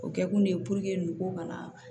O kɛ kun de ye n ko kana